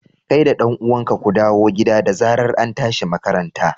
kai da dan uwanka ku dawo gida da zarar antashi makaranta.